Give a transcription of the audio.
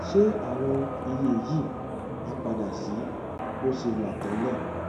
ṣé àwọn iye yìí á padà sí bó ṣe wà tẹlẹ